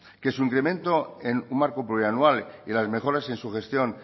que su incremento en un marco preanual y las mejoras en su gestión